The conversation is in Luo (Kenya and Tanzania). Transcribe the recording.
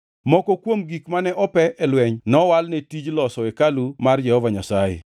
Moko kuom gik mane ope e lweny nowal ne tij loso hekalu mar Jehova Nyasaye.